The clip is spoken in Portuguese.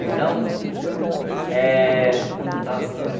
Então, eh onde eu estava mesmo?